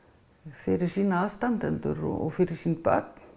fyrir sína aðstandendur og fyrir sín börn